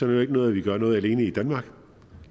det ikke noget at vi gør noget alene i danmark